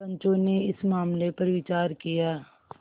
पंचो ने इस मामले पर विचार किया